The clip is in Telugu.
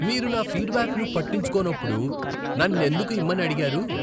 మీరు నా ఫీడ్బ్యాక్ను పట్టించుకోనప్పుడు నన్నెందుకు ఇమ్మని అడిగారు?